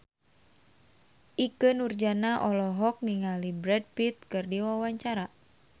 Ikke Nurjanah olohok ningali Brad Pitt keur diwawancara